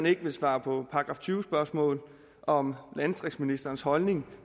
ikke vil svare på § tyve spørgsmål om landdistriktsministerens holdning